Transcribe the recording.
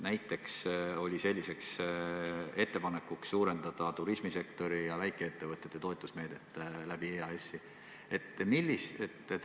Näiteks oli selline ettepanek suurendada turismisektori ja väikeettevõtete toetusmeedet EAS-i kaudu.